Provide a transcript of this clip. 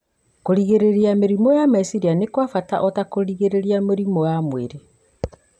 Kũgirĩrĩria mĩrimũ ya meciria nĩ kwa bata o ta kũgirĩrĩria mĩrimũ ya mwĩrĩ.